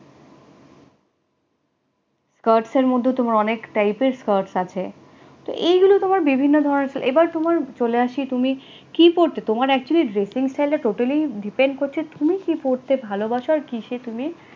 skirts এর মধ্যে তোমার অনেক type এর skirts আছে, তো এগুলো তোমার বিভিন্ন ধরনের এবার তোমার চলে আসি তুমি, কি পড়তে তোমার actually totally depend করছে তুমি কি পড়তে ভালোবাসো আর কিসে তুমি